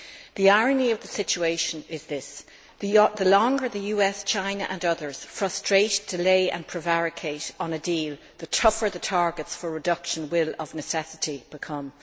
The irony of the situation is that, the longer the US, China and others frustrate, delay and prevaricate on a deal, the tougher the targets for reduction will, of necessity, become.